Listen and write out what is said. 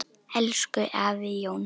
Elsku afi Jón.